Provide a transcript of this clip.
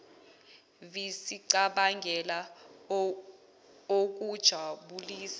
vi sicabangele okujabulisa